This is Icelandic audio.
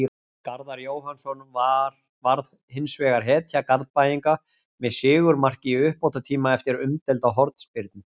Garðar Jóhannsson varð hinsvegar hetja Garðbæinga með sigurmark í uppbótartíma eftir umdeilda hornspyrnu.